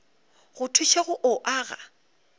go thuše go o aga